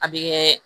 A bɛ kɛ